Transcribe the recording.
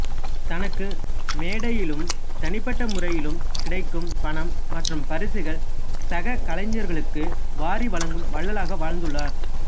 தனக்கு மேடையிலும் தனிப்பட்ட முறையிலும் கிடைக்கும் பணம் மற்றும் பரிசுகள் சககலைஞர்களுக்கு வாரி வழங்கும் வள்ளலாக வாழ்ந்துள்ளார்